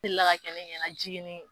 delila ka kɛ ne ɲɛna jiginni